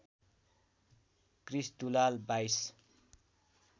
Krrish Dulal २२